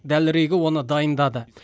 дәлірегі оны дайындады